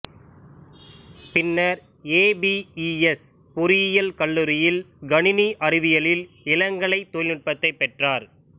பின்னர் ஏபிஇஎஸ் பொறியியல் கல்லூரியில் கணினி அறிவியலில் இளங்கலை தொழில்நுட்பத்தைப் பெற்றார்